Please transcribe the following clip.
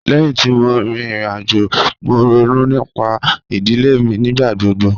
Lẹ́hin tí mo rí ìrìn-àjò, mo rònú nípà idilẹ̀ mi nígbàgbọ̀gbọ̀.